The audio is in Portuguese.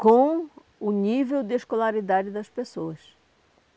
com o nível de escolaridade das pessoas.